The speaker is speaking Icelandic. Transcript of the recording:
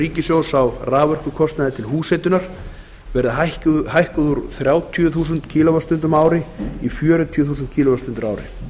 ríkissjóðs á raforkukostnaði til húshitunar verði hækkuð úr þrjátíu og fimm þúskwst á ári í fjörutíu þúsund kíló vattstundir á ári